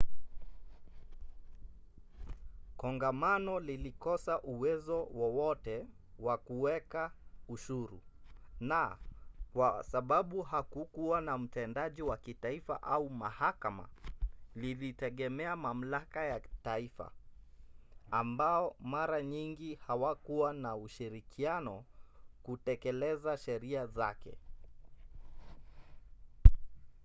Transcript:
kongamano lilikosa uwezo wowote wa kuweka ushuru na kwa sababu hakukuwa na mtendaji wa kitaifa au mahakama lilitegemea mamlaka ya taifa ambao mara nyingi hawakuwa na ushirikiano kutekeleza sheria zake